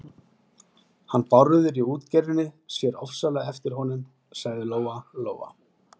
Hann Bárður í útgerðinni sér ofsalega eftir honum, sagði Lóa-Lóa.